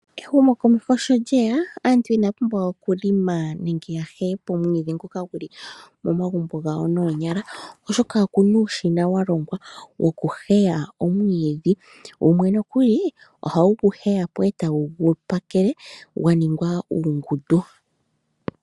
Ehumokomeho sho lyeya aantu inaya pumbwa okuheya omwiidhi ngoka guli momagumbo gawo noonyala oshoka oku na uushina wa longwa woku heya omwiidhi. Wumwe ohawu gu heyapo eta wu gu pakele gwa ningwa uungundu.